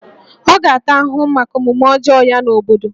Ọ ga-ata ahụhụ maka omume ọjọọ ya n'obodo